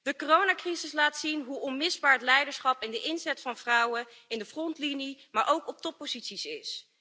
De coronacrisis laat zien hoe onmisbaar het leiderschap en de inzet van vrouwen in de frontlinie maar ook op topposities is.